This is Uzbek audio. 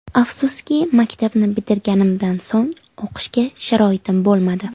Afsuski, maktabni bitirganimdan so‘ng o‘qishga sharoitim bo‘lmadi.